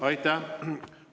Aitäh!